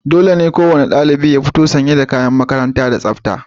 Dole ne kowane ɗalibi ya fito sanye da kayan makaranta da tsafta.